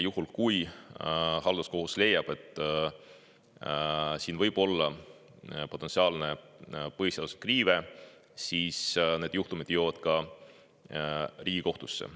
Kui halduskohus leiab, et siin võib olla põhiseaduse riive, siis need juhtumid jõuavad ka Riigikohtusse.